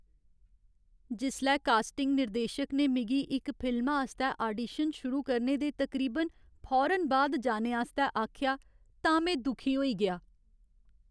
जिसलै कास्टिंग निर्देशक ने मिगी इक फिल्मा आस्तै आडीशन शुरू करने दे तकरीबन फौरन बाद जाने आस्तै आखेआ तां में दुखी होई गेआ।